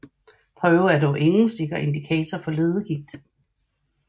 Prøven er dog ingen sikker indikator for leddegigt